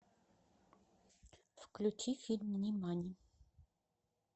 включи фильм нимани